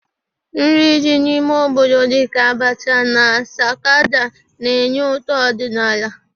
Nri dị n'ime obodo dịka abacha na sakada na-enye ụtọ ọdịnala.